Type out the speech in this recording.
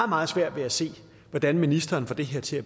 meget svært ved at se hvordan ministeren får det her til